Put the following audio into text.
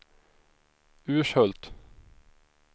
Urshult